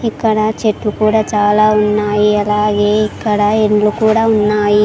ఇక్కడ చెట్లు కూడా చాలా ఉన్నాయి అలాగే ఇక్కడ ఇండ్లు కూడా ఉన్నాయి.